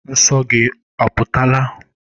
Nsọ gị oputala?